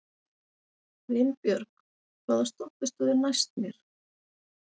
Vinbjörg, hvaða stoppistöð er næst mér?